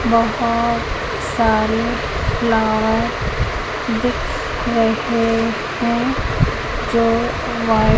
बहोत सारे फ्लावर दिख रहे हैं जो वाइट --